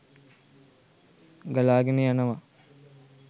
ගලාගෙන යනවා.